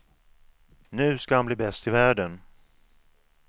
Nu ska han bli bäst i världen.